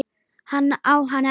Hann á hana ekki.